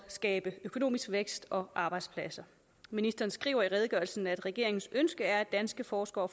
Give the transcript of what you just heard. skabe økonomisk vækst og arbejdspladser ministeren skriver i redegørelsen at regeringens ønske er at danske forskere